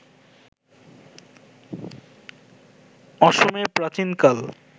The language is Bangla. অসমে প্রাচীনকাল